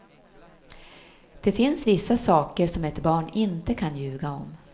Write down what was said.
Det finns vissa saker som ett barn inte kan ljuga om.